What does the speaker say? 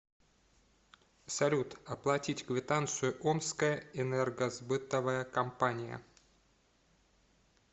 салют оплатить квитанцию омская энергосбытовая компания